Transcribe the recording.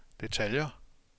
detaljer